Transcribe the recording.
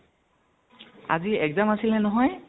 আজি exam আছিলে নহয় ?